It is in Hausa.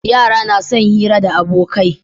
Yara na son hira da abokai